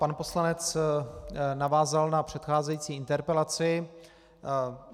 Pan poslanec navázal na předcházející interpelaci.